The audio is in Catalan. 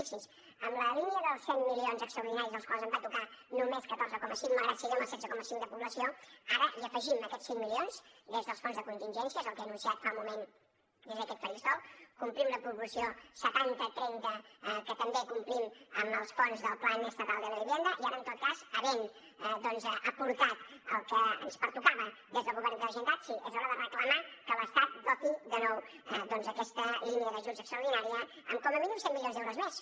fixi’s en la línia dels cent milions extraordinaris dels quals ens en van tocar només catorze coma cinc malgrat que siguem el setze coma cinc de població ara hi afegim aquests cinc milions des dels fons de contingències el que he anunciat fa un moment des d’aquest faristol complim la proporció setanta trenta que també complim amb els fons del plan estatal de la vivienda i ara en tot cas havent doncs aportat el que ens pertocava des del govern de la generalitat sí és hora de reclamar que l’estat doti de nou aquesta línia d’ajuts extraordinària amb com a mínim cent milions d’euros més